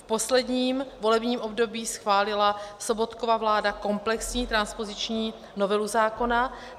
V posledním volebním období schválila Sobotkova vláda komplexní transpoziční novelu zákona.